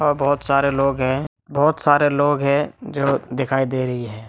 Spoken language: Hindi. और बहुत सारे लोग हैं बहुत सारे लोग हैं जो दिखाई दे रहे हैं।